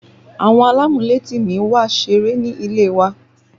Àwọn alamuleti mi wá ṣeré ní ilé wa